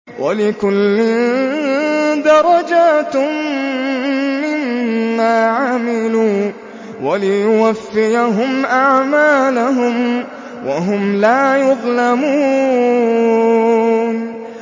وَلِكُلٍّ دَرَجَاتٌ مِّمَّا عَمِلُوا ۖ وَلِيُوَفِّيَهُمْ أَعْمَالَهُمْ وَهُمْ لَا يُظْلَمُونَ